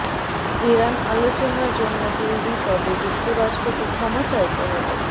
Iran আলোচনার জন্য তৈরি তবে যুক্তরাষ্ট্রকে ক্ষমা চাইতে হবে